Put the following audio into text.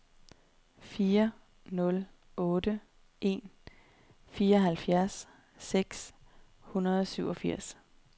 fire nul otte en fireoghalvfjerds seks hundrede og syvogfirs